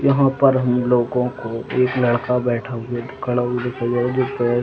यहाँ पर हम लोगो को एक लड़का बैठा हुआ खड़ा हुआ दिखाई दे रहा है।